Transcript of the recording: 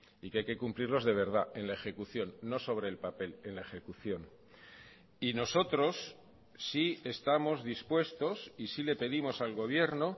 y que hay que cumplirlos de verdad en la ejecución no sobre el papel en la ejecución y nosotros sí estamos dispuestos y sí le pedimos al gobierno